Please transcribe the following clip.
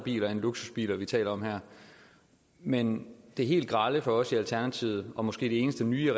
biler end luksusbiler vi taler om her men det helt grelle for os i alternativet og måske det eneste nye